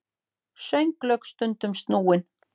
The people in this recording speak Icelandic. Sönglög stundum snúin.